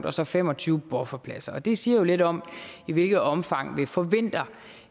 og så fem og tyve bufferpladser og det siger lidt om i hvilket omfang vi forventer